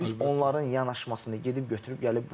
Biz onların yanaşmasını gedib götürüb gəlib.